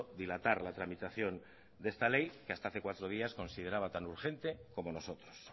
dilatar la tramitación de esta ley que hasta hace cuatro días consideraba tan urgente como nosotros